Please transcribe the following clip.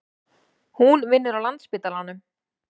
Hún vinnur á Landspítalanum.